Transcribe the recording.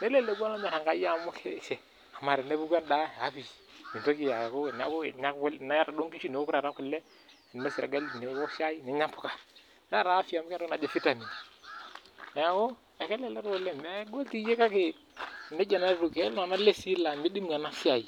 neleleku keeta afya]amu keeta entoki najii vitamin neeku ekelelek oleng megol doi kake ketii iltung'ana lazy laa midimu ena siai